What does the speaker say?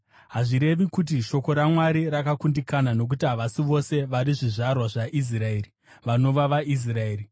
Hazvirevi kuti shoko raMwari rakakundikana. Nokuti havasi vose vari zvizvarwa zvaIsraeri vanova vaIsraeri.